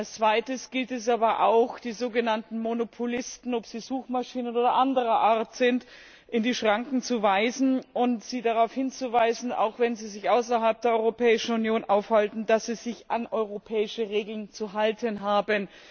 Als zweites gilt es aber auch, die sogenannten Monopolisten, ob sie Suchmaschinen oder anderer Art sind, in die Schranken zu weisen und sie darauf hinzuweisen, auch wenn sie sich außerhalb der Europäischen Union aufhalten, dass sie sich an europäische Regeln zu halten haben.